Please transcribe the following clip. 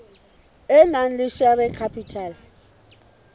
e nang le share capital